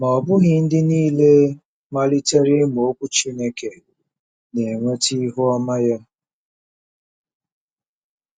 Ma ọ bụghị ndị nile malitere ịmụ Okwu Chineke na-enweta ihu ọma ya.